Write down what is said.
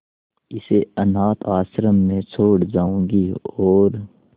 इसे अनाथ आश्रम में छोड़ जाऊंगी और